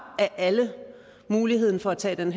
af alle muligheden for at tage en